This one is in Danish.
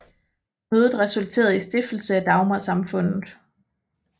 Mødet resulterede i stiftelse af Dagmarsamfundet